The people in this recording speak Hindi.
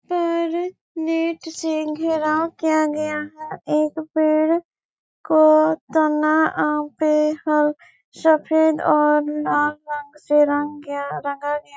पर नेट से खराब किया गया है एक पेड़ को तना आप पे हर सफेद और लाल रंग से रंग गया रंगा गया है|